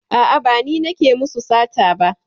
A'a, ba ni nake musu sata ba.